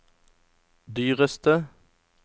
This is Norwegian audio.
dyreste